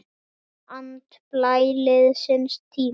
Finna andblæ liðins tíma.